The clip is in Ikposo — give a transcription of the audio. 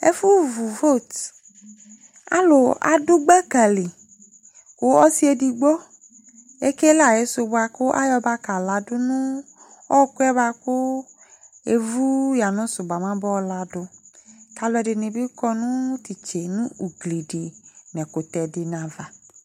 Ɛfʋvu vot Alʋ adʋ gbaka li kʋ ɔsɩ edigbo ekele ayɩsʋ bʋa kʋ ayɔ bakaladʋ nʋ ɔɣɔkʋ yɛ bʋa kʋ evu yanʋsʋ bʋa mɛ abayɔ ladʋ kʋ alʋɛdɩnɩ bɩ kɔ nʋ tʋ itse nʋ ugli dɩ nʋ ɛkʋtɛ dɩnɩ ava